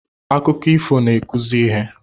Akụkọ ifo n'akụzi ihe